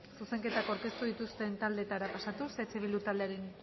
zuzenketa aurkeztu dituzten taldeetara pasatuz eh bildu taldearen